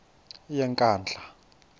yenkandla